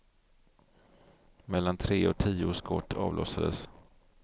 Mellan tre och tio skott avlossades.